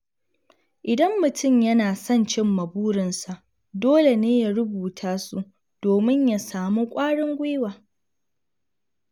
Idan mutum yana son cimma burinsa, dole ne ya rubuta su domin ya samu kwarin gwiwa.